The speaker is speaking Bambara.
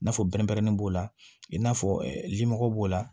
N'a fɔ pɛrɛn pɛrɛnnen b'o la i n'a fɔ limɔgɔ b'o la